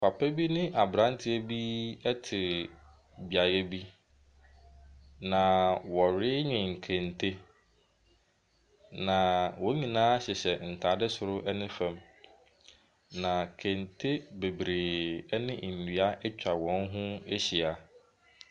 Papa bi ne aberanteɛ bi te beaeɛ bi, na wɔrenwen kente, na wɔn nyinaa hyehyɛ ntade soro ne fam, na kente bebree ne nnua atwa wɔn ho ahyia.